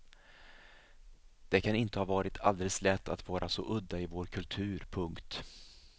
Det kan inte ha varit alldeles lätt att vara så udda i vår kultur. punkt